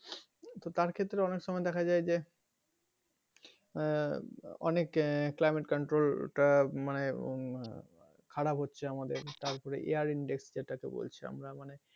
তো তার ক্ষেত্রে অনেক সময় দেখা যায় যে আহ অনেক climate control টা মানে খারাপ হচ্ছে আমাদের তারপর air index যেটা কে বলছি আমরা মানে,